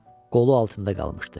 Qolu altında qalmışdı.